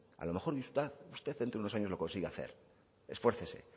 a lo mejor usted dentro de unos años lo consigue hacer esfuércese